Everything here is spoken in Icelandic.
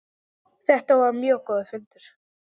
Þetta var mjög góður fundur.